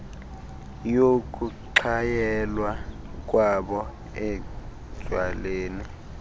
yokuxhayelwa kwabo etywaleni